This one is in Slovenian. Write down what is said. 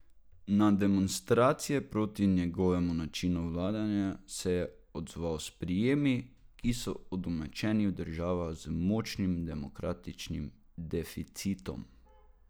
Na demonstracije proti njegovemu načinu vladanja se je odzval s prijemi, ki so udomačeni v državah z močnim demokratičnim deficitom.